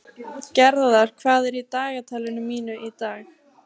Gerðar, hvað er í dagatalinu mínu í dag?